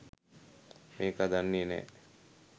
මේකා දන්නේ නැ